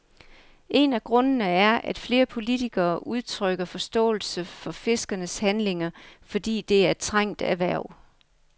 En af grundene er, at flere politikere udtrykker forståelse for fiskernes handlinger, fordi det er et trængt erhverv.